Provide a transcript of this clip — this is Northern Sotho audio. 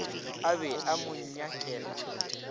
a be a mo nyakela